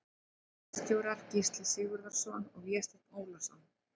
Ritstjórar Gísli Sigurðsson og Vésteinn Ólason.